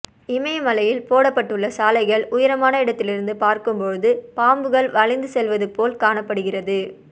இமயமலையில் போடப்பட்டுள்ள சாலைகள் உயரமான இடத்திலிருந்து பார்க்கும்போது பாம்புகள் வளைந்து செல்வது போல் காணப்படுகிறது